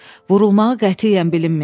Vurulmağı qətiyyən bilinməyəcək.